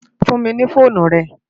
Fún mi no fónú rè